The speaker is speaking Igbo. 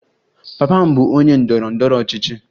Papa m bụ onye ndọrọ ndọrọ ọchịchị.